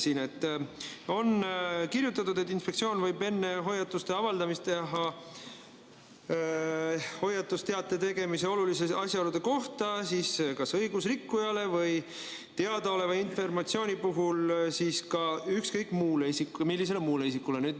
Siin on kirjutatud, et inspektsioon võib enne hoiatusteate avaldamist teha hoiatusteate tegemise oluliste asjaolude kohta kas õigusrikkujale, teadaoleva informatsiooni põhjal, või ükskõik millisele muule isikule.